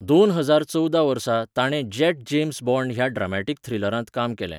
दोन हजार चवदा वर्सा, ताणें जॅट जेम्स बॉण्ड ह्या ड्रामाटीक थ्रिलरांत काम केलें.